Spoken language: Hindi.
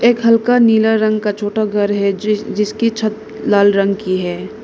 एक हल्का नीला रंग का छोटा घर है जिसकी छत लाल रंग की है।